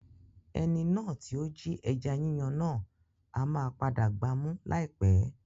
Ẹni náà tí ó jí ẹja yíyan náà ama padà gba mú láì pẹ́.